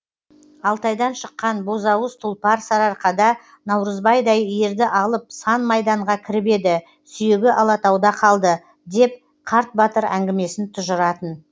алтайдан шыққан бозауыз тұлпар сарыарқада наурызбайдай ерді алып сан майданға кіріп еді сүйегі алатауда қалды деп қарт батыр әңгімесін тұжыратын